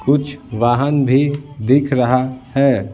कुछ वाहन भी दिख रहा है।